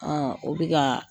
Aa o bɛ ka